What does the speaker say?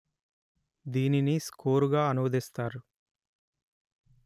దీనిని స్కోరుగా అనువదిస్తారు